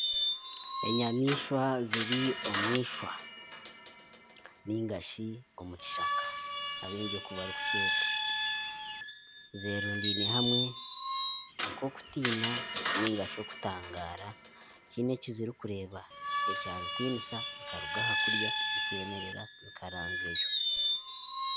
Enyamaishwa ziri omu ishwa ningashi omu kishaka zeerundaine hamwe nk'okutiina nari okutangaara haine ekizirikureeba ekyazitinisa zikaruga aha kurya zikemerera zikaranzyayo